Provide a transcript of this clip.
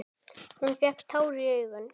Hún fékk tár í augun.